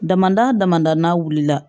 Damadɔ damada n'a wulila